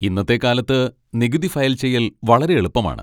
ഇന്നത്തെ കാലത്ത് നികുതി ഫയൽ ചെയ്യൽ വളരെ എളുപ്പമാണ്.